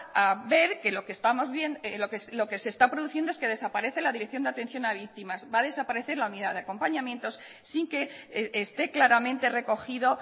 a ver que lo que se está produciendo es que desaparece la dirección de atención a víctimas va a desaparecer la unidad de acompañamientos sin que esté claramente recogido